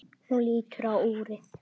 Hún lítur á úrið.